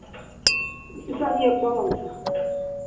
списание баланса